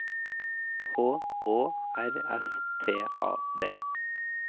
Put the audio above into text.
H Å R S T A D